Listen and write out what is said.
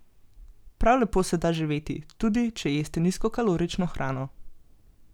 Prav lepo se da živeti, tudi če jeste nizkokalorično hrano.